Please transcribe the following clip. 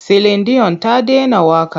Silin diyon ta dena waƙa.